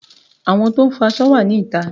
Àwọn tó ń fọ aṣọ wà ní ìta